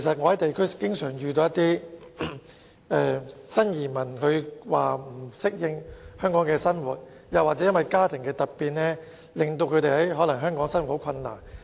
我在地區經常遇到新移民說不適應香港生活，或因家庭突變令他們在香港的生活變得困難。